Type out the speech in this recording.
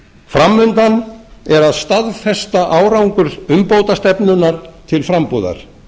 fram undan er að staðfesta árangur umbótastefnunnar til frambúðar